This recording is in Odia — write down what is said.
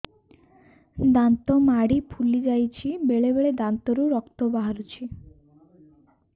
ଦାନ୍ତ ମାଢ଼ି ଫୁଲି ଯାଉଛି ବେଳେବେଳେ ଦାନ୍ତରୁ ରକ୍ତ ବାହାରୁଛି